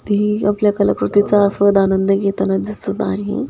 ती आपल्या कला कृतीचा आस्वाद आनंद घेताना दिसत आहे.